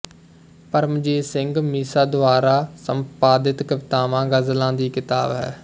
ਪਰਮਜੀਤ ਸਿੰਘ ਮੀਸ਼ਾ ਦੁਆਰਾ ਸੰਪਾਦਿਤ ਕਵਿਤਾਵਾਂ ਗ਼ਜ਼ਲਾਂ ਦੀ ਕਿਤਾਬ ਹੈ